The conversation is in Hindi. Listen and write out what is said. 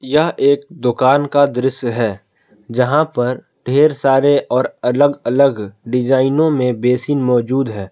यह एक दुकान का दृश्य है जहां पर ढेर सारे और अलग अलग डिजाइनों में बेसिन मौजूद है।